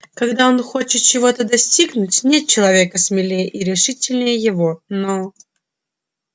когда он хочет чего-то достигнуть нет человека смелее и решительнее его но